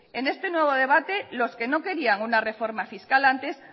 en este nuevo debate los que no querían una reforma fiscal antes